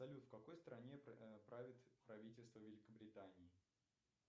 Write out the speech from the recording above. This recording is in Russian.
салют в какой стране правит правительство великобритании